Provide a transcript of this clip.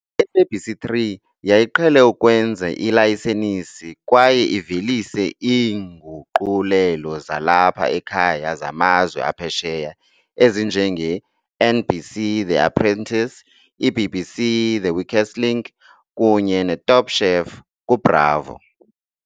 I-SABC3 yayiqhele ukwenza ilayisenisi kwaye ivelise iinguqulelo zalapha ekhaya zamazwe aphesheya ezinje nge-NBC The Apprentice, i-BBC The Weakest Link kunye neTop Chef kuBravo.